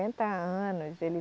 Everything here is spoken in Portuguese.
anos, ele.